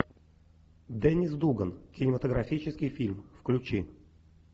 деннис дуган кинематографический фильм включи